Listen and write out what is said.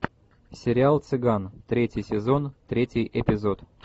сериал цыган третий сезон третий эпизод